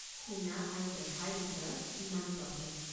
শুনা আৰু দেখাৰ ভিতৰত ইমান প্ৰভেদ।